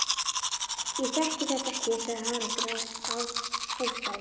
Ég þekki þetta ekki, sagði Haraldur Hálfdán.